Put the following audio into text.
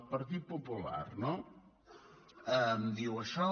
el partit popular no em diu això